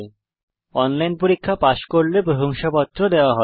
যারা অনলাইন পরীক্ষা পাস করে তাদের প্রশংসাপত্র দেয়